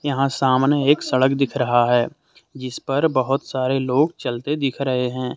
यहां सामने एक सड़क दिख रहा हैजिसपर बहुत सारे लोग चलते दिख रहे हैं।